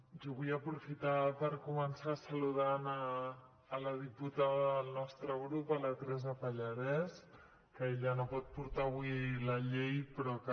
jo vull aprofitar per començar saludant la diputada del nostre grup la teresa pallarès que ella no pot portar avui la llei però que